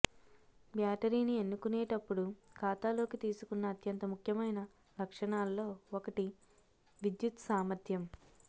బ్యాటరీని ఎన్నుకునేటప్పుడు ఖాతాలోకి తీసుకున్న అత్యంత ముఖ్యమైన లక్షణాల్లో ఒకటి విద్యుత్ సామర్థ్యం